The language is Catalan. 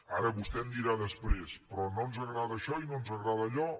ara vostè em dirà després però no ens agrada això i no ens agrada allò